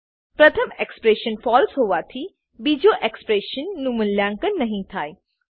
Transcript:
પ્રથમ expression false હોવાથી બીજા એક્સપ્રેશન નું મૂલ્યાંકન નહી થાય